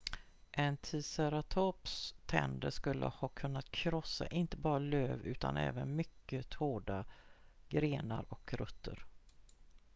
en ticeratops tänder skulle ha kunnat krossa inte bara löv utan även mycket hårda grenar och rötter